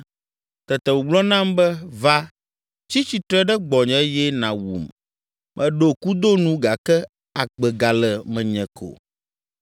“Tete wògblɔ nam be, ‘Va, tsi tsitre ɖe gbɔnye eye nàwum! Meɖo kudo nu gake agbe gale menye ko.’